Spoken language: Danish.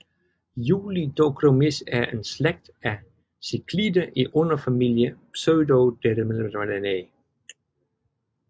Julidochromis er en slægt af ciclider i underfamilie Pseudocrenilabrinae